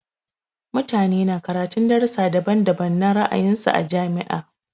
Mutane na karatun darussa daban-daban na ra'ayin su a jami'a.